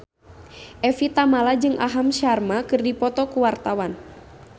Evie Tamala jeung Aham Sharma keur dipoto ku wartawan